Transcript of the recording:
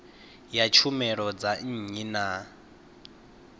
ya tshumelo dza nnyi na